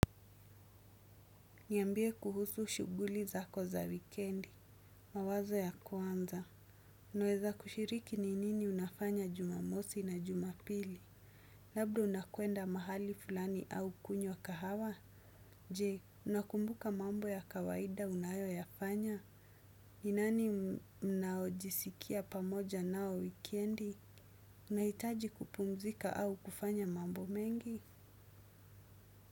Niambie kuhusu shuguli zako za wikendi. Mawazo ya kwanza. Naweza kushiriki ni nini unafanya jumamosi na jumapili. Labda unakwenda mahali fulani au kunywa kahawa. Je, unakumbuka mambo ya kawaida unayo yafanya. Ninani mnaojisikia pamoja nao wikendi. Unahitaji kupumzika au kufanya mambo mengi.